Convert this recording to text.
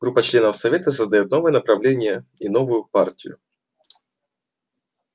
группа членов совета создаёт новое направление и новую партию